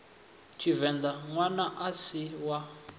tshivenḓa ṋwana a si wa